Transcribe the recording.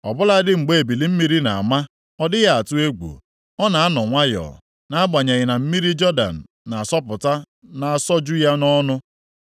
Ọ bụladị mgbe ebili mmiri na-ama, ọ dịghị atụ egwu; ọ na-anọ nwayọọ, nʼagbanyeghị na mmiri Jọdan na-asọpụta na-asọju ya nʼọnụ.